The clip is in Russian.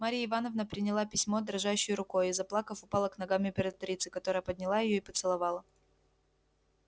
марья ивановна приняла письмо дрожащей рукою и заплакав упала к ногам императрицы которая подняла её и поцеловала